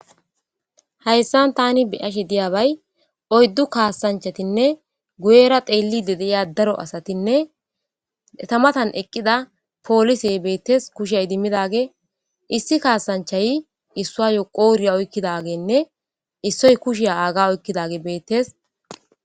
Hayssan taani be'ashe diiyabbay oyddu kassanchatinne guyyera xeellidi diiya daaro asatinne eetta mattan eqqida poollisey bettes kushshe iddimmidaggey issi kassanchay issuwayo qodhdhe oykkidagenne issoy kushshe aagga oykkidaggey bettes.